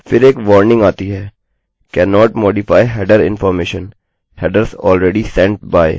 फिर एक वार्निंग आती है cannot modify header information – headers already sent by और यही सब